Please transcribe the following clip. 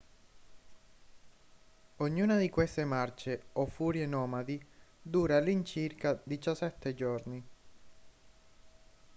ognuna di queste marce o furie nomadi dura all'incirca 17 giorni